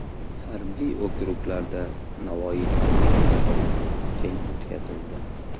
Harbiy okruglarda Navoiyxonlik tadbirlari keng o‘tkazildi.